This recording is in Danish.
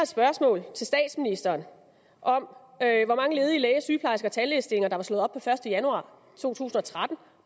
spørgsmål til statsministeren om hvor mange ledige læge sygeplejerske og tandlægestillinger der var slået op per første januar to tusind og tretten